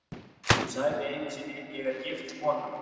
Hún sagði einu sinni: Ég er gift kona.